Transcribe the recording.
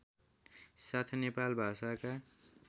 साथ नेपाल भाषाका